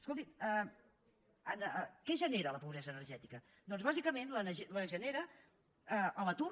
escoltin què genera la pobresa energètica doncs bàsicament la genera l’atur